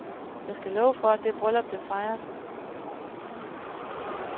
Jeg skal love for, at det bryllup blev fejret.